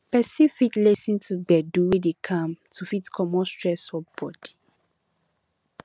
person fit lis ten to gbedu wey dey calm to fit comot stress for body